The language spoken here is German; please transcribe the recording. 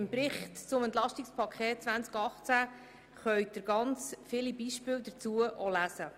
Im Bericht zum EP 2018 können Sie viele Beispiele dazu nachlesen.